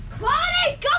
hvað